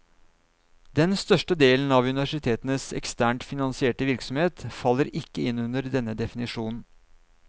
Den største delen av universitetenes eksternt finansierte virksomhet faller ikke inn under denne definisjonen.